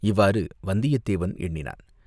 இவ்வாறு வந்தியத்தேவன் எண்ணினான்.